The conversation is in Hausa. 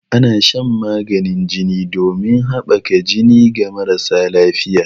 Ana shan maganin jini ɗomin haɓaka jini ga marasa lafiƴa.